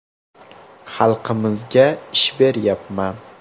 Xalqimizga ish beryapman.